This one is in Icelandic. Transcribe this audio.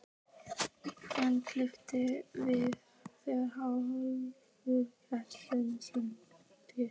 Hann kippist við þegar Hrólfur kastar þessari sprengju.